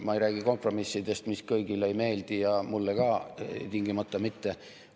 Ma ei räägi kompromissidest, mis kõigile ei meeldi ja mulle ka tingimata mitte.